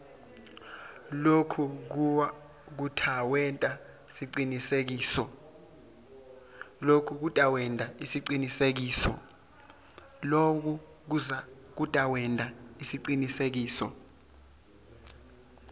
loku kutawenta siciniseko